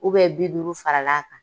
bi duuru fara l'a kan.